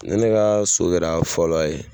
Ne ne ka so kɛra fɔlɔ ye.